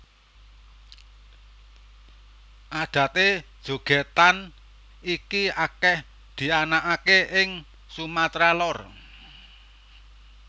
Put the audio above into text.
Adaté jogètan iki akèh dianakaké ing Sumatra Lor